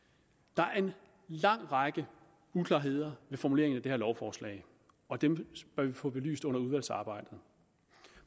der er en lang række uklarheder ved formuleringen af det her lovforslag og dem bør vi få belyst under udvalgsarbejdet